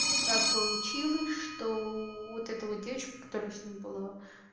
так получилось что вот это вот девочка которая с ним была